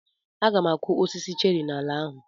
Aga m akụ osisi cheri n'ala ahụ.